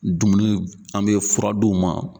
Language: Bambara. Dumuni an bɛ fura d'u ma.